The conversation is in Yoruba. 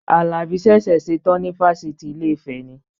Àlàbí ṣẹ̀ṣẹ̀ ṣetán ni fáfitì Ilé-ifẹ̀ ni